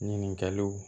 Ɲininkaliw